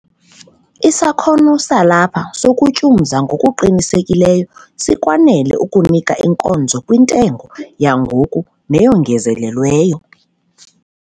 Isakhono salapha sokutyumza ngokuqinisekileyo sikwanele ukunika inkonzo kwintengo yangoku neyongezelelweyo.